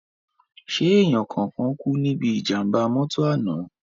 Ṣé èèyàn kankan kú níbí ìjàm̀bá mọ́tọ̀ àná?